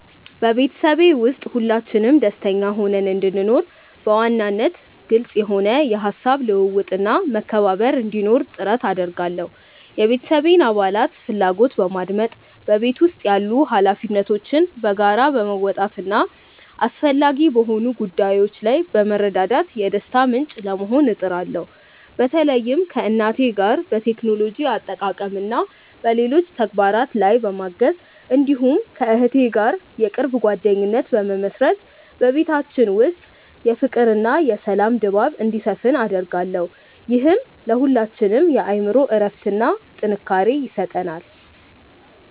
በቤተሰቤ ውስጥ ሁላችንም ደስተኛ ሆነን እንድንኖር፣ በዋናነት ግልጽ የሆነ የሐሳብ ልውውጥና መከባበር እንዲኖር ጥረት አደርጋለሁ። የቤተሰቤን አባላት ፍላጎት በማድመጥ፣ በቤት ውስጥ ያሉ ኃላፊነቶችን በጋራ በመወጣትና አስፈላጊ በሆኑ ጉዳዮች ላይ በመረዳዳት የደስታ ምንጭ ለመሆን እጥራለሁ። በተለይም ከእናቴ ጋር በቴክኖሎጂ አጠቃቀምና በሌሎች ተግባራት ላይ በማገዝ፣ እንዲሁም ከእህቴ ጋር የቅርብ ጓደኝነት በመመሥረት በቤታችን ውስጥ የፍቅርና የሰላም ድባብ እንዲሰፍን አደርጋለሁ። ይህም ለሁላችንም የአእምሮ እረፍትና ጥንካሬ ይሰጠናል።